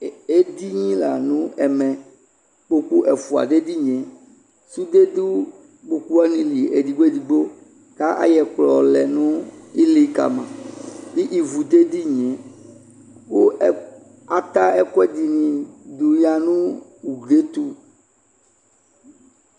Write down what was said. Ɛdini la no ɛmɛ Ukooku ɛfua dɛ edinie Sude do kpoku wane li edigbo edigbo kayɛ kplɔ lɛ nu ili kama l ivu dɛ dinie ko ɛ ata ɛkuɛde ne do ya no uglie to